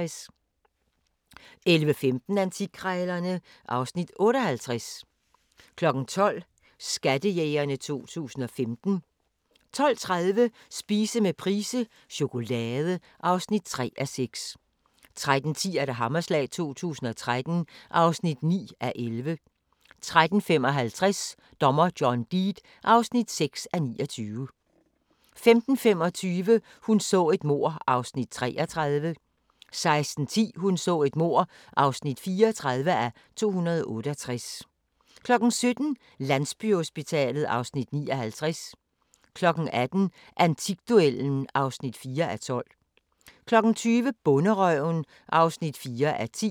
11:15: Antikkrejlerne (Afs. 58) 12:00: Skattejægerne 2015 12:30: Spise med Price - chokolade (3:6) 13:10: Hammerslag 2013 (9:11) 13:55: Dommer John Deed (6:29) 15:25: Hun så et mord (33:268) 16:10: Hun så et mord (34:268) 17:00: Landsbyhospitalet (Afs. 59) 18:00: Antikduellen (4:12) 20:00: Bonderøven (4:10)